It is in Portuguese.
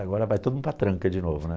Agora vai todo mundo para a tranca de novo, né?